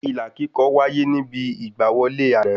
Ilà kíkọ wáyé níbi ìgbà wọlé àná